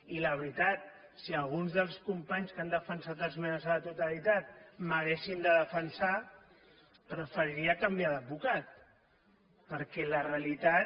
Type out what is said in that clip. i la veritat si alguns dels companys que han defensat esmenes a la totalitat m’haguessin de defensar preferiria canviar d’advocat perquè la realitat